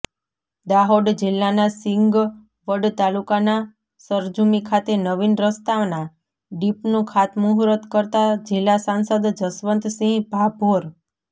દાહોદ જિલ્લાના સિંગવડ તાલુકાના સરજુમિ ખાતે નવીન રસ્તાના ડીપનું ખાતમહૂર્ત કરતાં જિલ્લા સાંસદ જશવંતસિહ ભાભોર